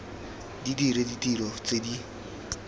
di dire ditiro tse di